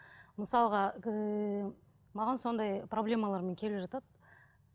мысалға ыыы маған сондай проблемалармен келіп жатады